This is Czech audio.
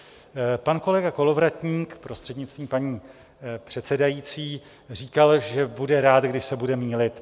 Pan kolega Kolovratník, prostřednictvím paní předsedající, říkal, že bude rád, když se bude mýlit.